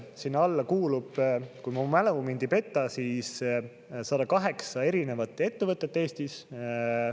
Sinna alla kuulub, kui mu mälu mind ei peta, siis 108 erinevat ettevõtet Eestis.